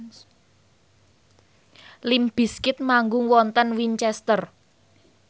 limp bizkit manggung wonten Winchester